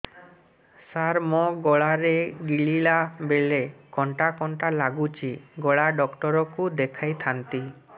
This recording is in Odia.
ସାର ମୋ ଗଳା ରେ ଗିଳିଲା ବେଲେ କଣ୍ଟା କଣ୍ଟା ଲାଗୁଛି ଗଳା ଡକ୍ଟର କୁ ଦେଖାଇ ଥାନ୍ତି